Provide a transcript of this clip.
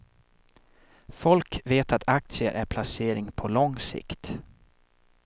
Folk vet att aktier är placering på lång sikt.